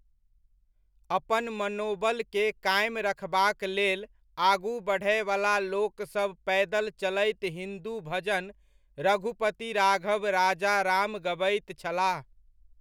अपन मनोबल के कायम रखबाक लेल आगू बढ़यवला लोकसभ पैदल चलैत हिन्दू भजन रघुपति राघव राजा राम गबैत छलाह।